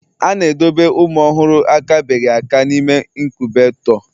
A na-edobe ụmụ ọhụrụ akabeghị aka n'ime inkubetoo